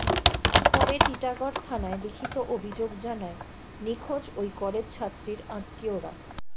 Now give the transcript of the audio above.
পরে টিটাগড় থানায় লিখিত অভিযোগ জানায় নিখোঁজ ওই কলেজ ছাত্রীর আত্মীয়রা